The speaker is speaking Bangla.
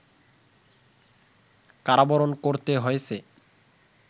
কারাবরণ করতে হয়েছে